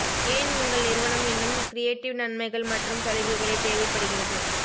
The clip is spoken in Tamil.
ஏன் உங்கள் நிறுவனம் இன்னும் கிரியேட்டிவ் நன்மைகள் மற்றும் சலுகைகளைத் தேவைப்படுகிறது